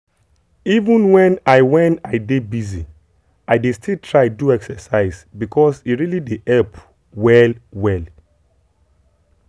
even when i when i dey busy i dey still try do exercise because e really dey help well well.